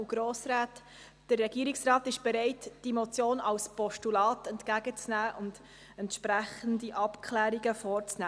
Der Regierungsrat ist bereit, die Motion als Postulat entgegenzunehmen und entsprechende Abklärungen vorzunehmen.